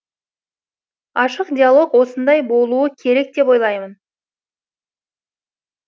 ашық диалог осындай болуы керек деп ойлаймын